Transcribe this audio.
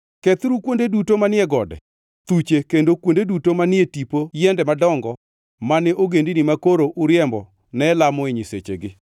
Kethuru kuonde duto manie gode, thuche kendo kuonde duto manie tipo yiende madongo mane ogendini makoro uriembo ne lamoe nyisechegi.